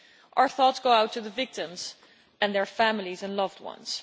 Our thoughts go out to the victims and their families and loved ones.